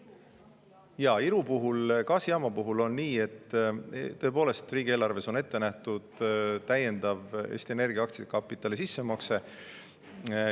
Jaa, Iru puhul, gaasijaama puhul on nii, et tõepoolest, riigieelarves on ette nähtud täiendav Eesti Energia aktsiakapitali sissemakse.